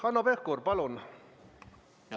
Hanno Pevkur, palun!